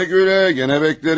Gülə-gülə, yenə gözləyərik.